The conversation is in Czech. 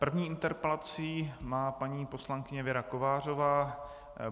První interpelaci má paní poslankyně Věra Kovářová.